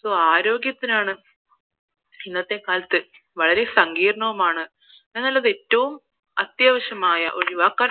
so ആരോഗ്യത്തിനാണ് ഇന്നത്തെ കാലത്ത് വളരെ സങ്കീർണവുമാണ് എന്നാൽ അത് ഏറ്റവും അത്യാവശ്യമായ ഒട്ടും ഒഴിവാക്കാൻ